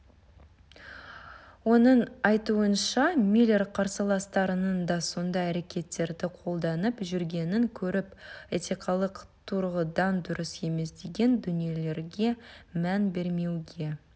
оның айтуынша миллер қарсыластарының да сондай әрекеттерді қолданып жүргенін көріп этикалық тұрғыдан дұрыс емес деген дүниелерге мән бермеуге